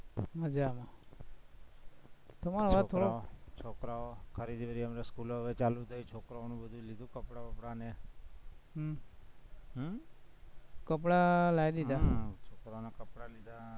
મજામાં તમારો અવાજ થોડો છોકરાઓ ખરીદી ને બધી school ઓ હવે ચાલુ થઇ, છોકરાનું બધું લીધું કપડાં-બપડા ને હમ હમ કપડાં લાઇ દીધા છોકરાઓના કપડાં લીધા